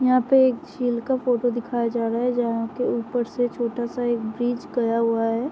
यहां पे झील का एक फोटो दिखाया जा रहा है जहां के ऊपर से छोटा सा एक ब्रिज गया हुआ है।